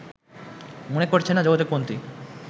মনে করছেন না যোগাযোগমন্ত্রী